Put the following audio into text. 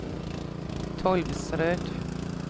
Tolvsrød